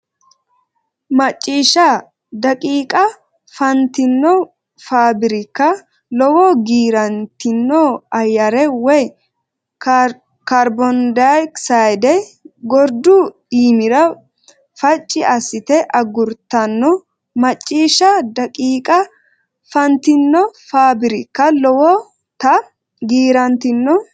Macciishsha daqiiqa fa nantino faabirikka lowota giirantino ayyare woy kaarbondayoksayde gordu iimira facci assite agurtanno Macciishsha daqiiqa fa nantino faabirikka lowota giirantino.